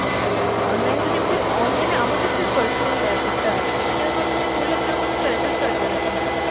online এ যদি আমাদের online এ আমাদের যে personal app টা আছে সেটার মাধ্যমে করলে আপনার কোনো charges কাটবেনা কিন্তু।